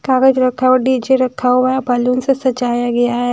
कागज़ रखा हुआ है डी_जे रखा हुआ है बलून्स से सजाया गया है।